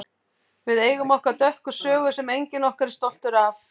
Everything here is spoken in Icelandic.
Við eigum okkar dökka sögu sem enginn okkar er stoltur af.